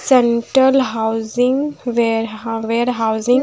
central housing ware warehousing --